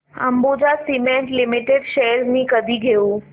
Ambuja cement limited shares मी कधी घेऊ